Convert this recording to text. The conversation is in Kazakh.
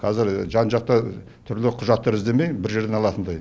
қазір жан жақтан түрлі құжаттар іздемей бір жерден алатындай